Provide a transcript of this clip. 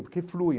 Por que flui?